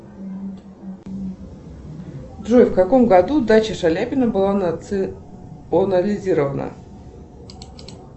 джой в каком году дача шаляпина была национализирована